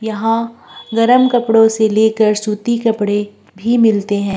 यहां गर्म कपड़ों से लेकर सूती कपड़े भी मिलते हैं।